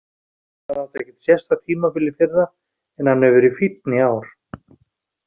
Hann átti ekkert sérstakt tímabil í fyrra en hann hefur verið fínn í ár.